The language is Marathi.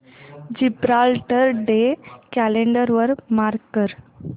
जिब्राल्टर डे कॅलेंडर वर मार्क कर